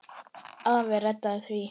Afi reddaði því.